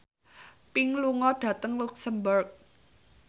Pink lunga dhateng luxemburg